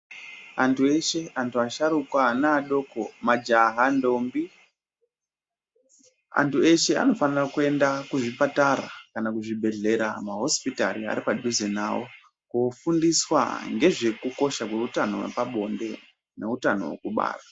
Antu eshe, antu asharukwa, anadoko, majaha, ndombi, antu eshe anofane kuenda kuchipatara kana kuzvibhedhlera, mahosipitari aripadhuze navo, koofundiswa ngezvekukosha kweutano hwepabonde neutano hwekubara.